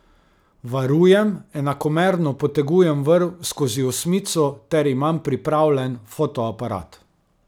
Varujem, enakomerno potegujem vrv skozi osmico ter imam pripravljen fotoaparat.